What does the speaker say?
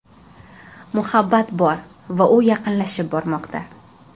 Muhabbat bor va u yaqinlashib bormoqda!